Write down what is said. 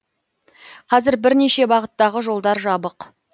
қазір бірнеше бағыттағы жолдар жабық